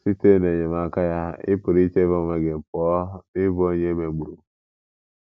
Site n’enyemaka ya, ị pụrụ ichebe onwe gị pụọ n’ịbụ onye e megburu.